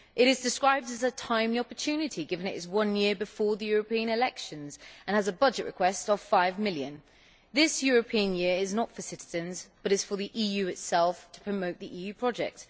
It is described as a timely opportunity, given that it is one year before the European elections, and it has a budget request of EUR 5 million. This European Year is not for the citizens but is for the EU itself to promote the EU project.